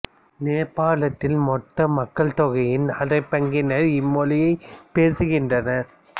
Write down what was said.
நேபாளத்தில் மொத்த மக்கள் தொகையின் அரைப் பங்கினரே இம் மொழியைப் பேசுகின்றனர்